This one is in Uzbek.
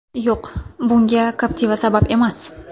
Yo‘q, bunga Captiva sabab emas.